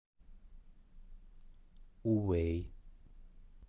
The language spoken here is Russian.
увэй